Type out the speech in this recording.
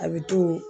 A bɛ to